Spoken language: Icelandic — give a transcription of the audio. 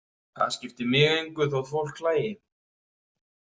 Það skipti mig engu þótt fólk hlægi.